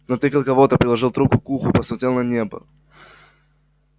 натыкал кого-то приложил трубку к уху посмотрел на небо